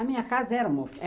A minha casa era uma oficina.